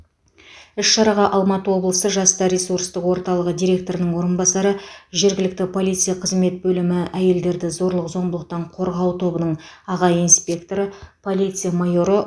іс шараға алматы облысы жастар ресурстық орталығы директорының орынбасары жергілікті полиция қызмет бөлімі әйелдерді зорлық зомбылықтан қорғау тобының аға инспекторы полиция майоры